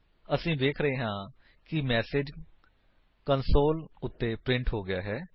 ਅਸੀ ਵੇਖ ਰਹੇ ਹਾਂ ਕਿ ਮੈਸੇਜ ਕੰਸੋਲ ਉੱਤੇ ਪ੍ਰਿੰਟ ਹੋ ਗਿਆ ਹੈ